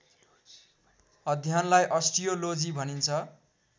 अध्ययनलाई अस्टियोलोजी भनिन्छ